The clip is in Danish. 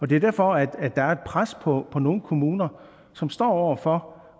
det er derfor at der er et pres på nogle kommuner som står over for